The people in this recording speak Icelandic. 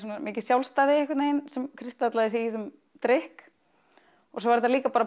mikið sjálfstæði einhvern veginn sem kristallaðist í þessum drykk og svo var þetta líka